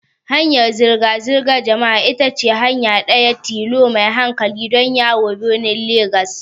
Hanyar zirga-zirgar jama'a ita ce hanya ɗaya tilo mai hankali don yawo birnin Legas.